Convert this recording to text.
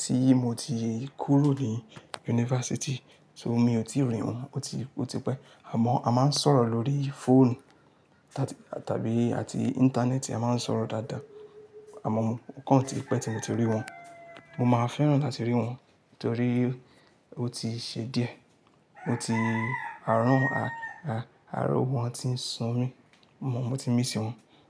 tí mo ti kúrò ní yunifásítì, so mi ò tíì rí wọ́n ó ti, ó ti pẹ́. Àmọ́ a máa ń sọ̀rọ̀ lórí fóònù tá, tàbí àti íńtánẹ́ẹ̀tì a máa ń sọ̀rọ̀ dáadáa. Àmọ́ mo, o kàn tí pẹ́ tí mo ti rí wọ́n. Mo máa fẹ́ràn láti rí wọ́n torí ó ti ṣe díẹ̀. Ó ti-- àárọ̀ wọn á, a, àárọ̀ wọn ti ń so mí. Mo, mo ti ń mísí wọ́n.